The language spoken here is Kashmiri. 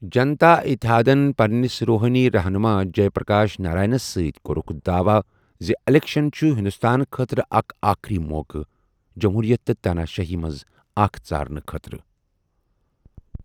جنتا اتحادن، پننِس روحٲنی رہنُما جئے پرکاش نارائنس سۭتۍ، کورُکھ داواہ زِ اِلیکشن چھُ ہندوستان خٲطرٕ اکھ آخری موقعہٕ ''جموٗرِیَت تہٕ تاناشٲہی'' منٛز اکھ ژارنہٕ خٲطرٕ۔